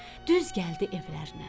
Düz gəldi evlərinə.